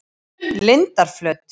Lindarflöt